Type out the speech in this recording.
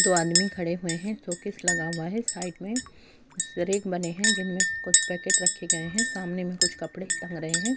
دو آدمی کھڈے ہوئے ہے۔ شوکیس لگا ہوا ہے۔ سائیڈ مے ریک بنے ہے۔ جنمے کچھ پیکٹ رکھے گئے ہے۔ سامنے مے کچھ کپڑے تانگ رہے ہے۔